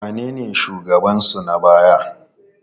Wanene shugabansu na baya?